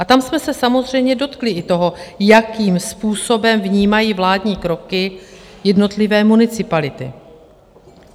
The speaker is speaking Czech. A tam jsme se samozřejmě dotkli i toho, jakým způsobem vnímají vládní kroky jednotlivé municipality.